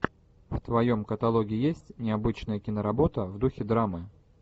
в твоем каталоге есть необычная киноработа в духе драмы